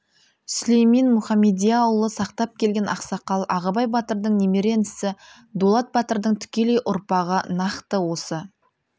сүлеймен мұхамедияұлы сақтап келген ақсақал ағыбай батырдың немере інісі дулат батырдың тікелей ұрпағы нақты осы